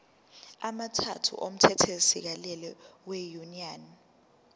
amathathu omthethosisekelo wenyunyane